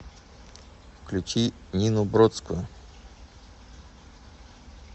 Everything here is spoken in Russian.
включи нину бродскую